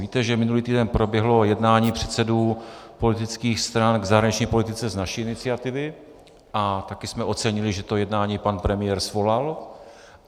Víte, že minulý týden proběhlo jednání předsedů politických stran k zahraniční politice z naší iniciativy a také jsme ocenili, že to jednání pan premiér svolal.